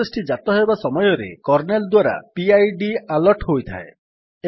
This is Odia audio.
ପ୍ରୋସେସ୍ ଟି ଜାତ ହେବା ସମୟରେ କର୍ନେଲ୍ ଦ୍ୱାରା ପିଡ୍ ଆଲଟ୍ ହୋଇଥାଏ